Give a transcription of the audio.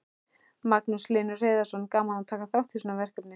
Magnús Hlynur Hreiðarsson: Gaman að taka þátt í svona verkefni?